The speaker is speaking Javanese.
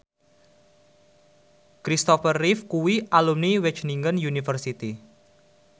Kristopher Reeve kuwi alumni Wageningen University